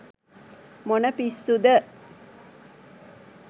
මොන පිස්සුද !